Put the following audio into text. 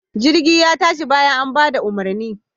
Jirgin ya tashi bayan an bada umarni.